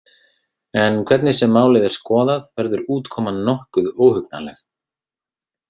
En hvernig sem málið er skoðað, verður útkoman nokkuð óhugnanleg.